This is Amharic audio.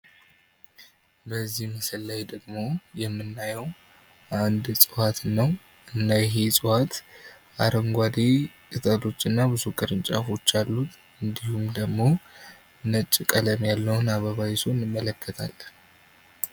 በዚህ ምስል ላይ ደግሞ የምናየው አንድን እጽዋት ነው። እና ይህም እጽዋት አረንጓዴ ቅጠሎች እና ብዙ ቅርንጫፎች ያሉት ሲሆን እንዲሁም ደግሞ ነጭ ቀለም ያለውን አበባ ይዞ እንመለከታለን